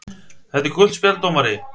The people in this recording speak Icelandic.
. þetta er gult spjald dómari!!!